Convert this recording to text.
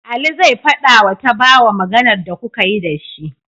Ali zai fadawa tabawa Maganar da kukayi da shi